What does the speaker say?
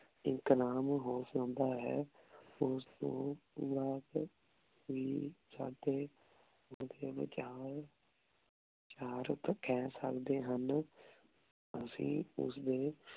ਇਕ ਨਾਮ ਹੋ ਸਕਦਾ ਹੈ ਓਸ ਤੋਂ ਬਾਅਦ ਹੀ ਸਾਡੇ ਓਡੀ ਵਿਚਾਲ ਵਿਚਾਰ ਕਹ ਸਕਦੇ ਹਨ ਅਸੀਂ ਓਸਦੇ